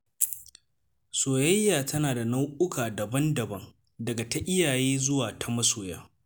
Soyayya tana da nau’uka daban-daban, daga ta iyaye zuwa ta masoya.